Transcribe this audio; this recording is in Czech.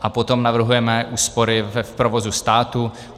A potom navrhujeme úspory v provozu státu.